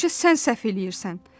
Həmişə sən səhv eləyirsən.